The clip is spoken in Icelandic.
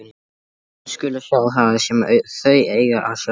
Augu mín skulu sjá það sem þau eiga að sjá.